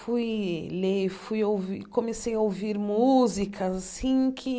Fui ler e fui ouv comecei a ouvir músicas assim que